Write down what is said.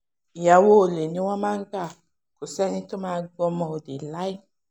ìyàwó olè ni wọ́n ń gbà kó sẹ́ni tó máa gbọ́mọ olè láé